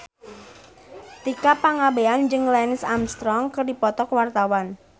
Tika Pangabean jeung Lance Armstrong keur dipoto ku wartawan